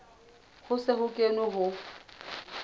ho se ho kenwe ho